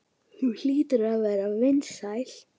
Þú hlýtur að vera vinsæl.